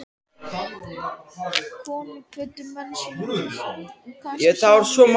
Konur kvöddu menn sína og kannski syni líka.